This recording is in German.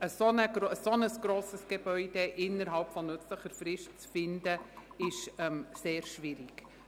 Ein so grosses Gebäude innerhalb nützlicher Frist zu finden, ist sehr schwierig.